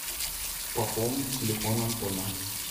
пополнить телефон антона